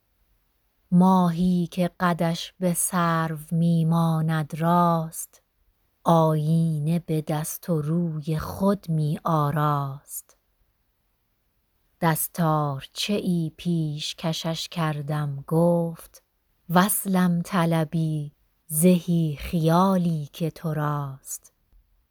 ماهی که قدش به سرو می ماند راست آیینه به دست و روی خود می آراست دستارچه ای پیشکشش کردم گفت وصلم طلبی زهی خیالی که تو راست